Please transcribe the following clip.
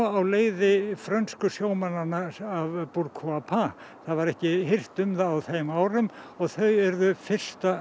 á leiði frönsku sjómannanna af Pourquoi pas það var ekki hirt um það á þeim árum og þau urðu fyrsta